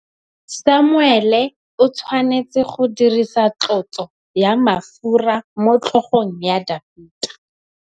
Samuele o tshwanetse go dirisa tlotsô ya mafura motlhôgong ya Dafita.